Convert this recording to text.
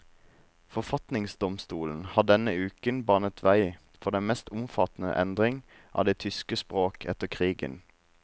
Forfatningsdomstolen har denne uken banet vei for den mest omfattende endring av det tyske språk etter krigen.